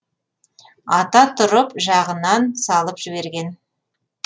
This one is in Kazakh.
ата тұрып жағынан салып жіберген